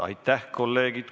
Aitäh, kolleegid!